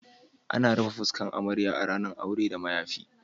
Ana yawan rufe fuskan amarya a ranan auren da mayafi.